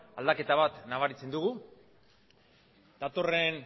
aldaketa bat nabaritzen dugu datorren